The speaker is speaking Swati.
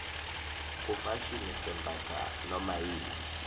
kufashini sembatsa nomayini